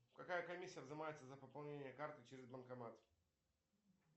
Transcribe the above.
какая комиссия взимается за пополнение карты через банкомат